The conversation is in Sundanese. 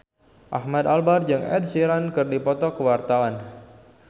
Ahmad Albar jeung Ed Sheeran keur dipoto ku wartawan